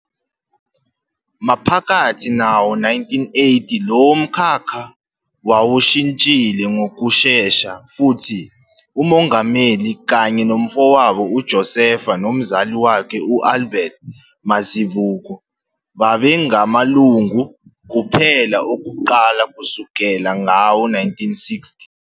Maphakathi nawo-1980, lo mkhakha wawushintshile ngokushesha futhi uMongameli, kanye nomfowabo uJosefa nomzala wakhe u-Albert Mazibuko, babengamalungu kuphela okuqala kusukela ngawo-1960.